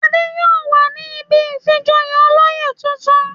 Adé yóò wà ní ibi ìfijoyè olóyè tuntun.